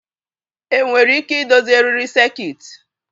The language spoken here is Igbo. Enwere ike idozi eriri sekit?